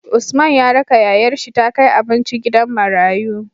Usman ya raka yayar shi ta kai abinci gidan marayu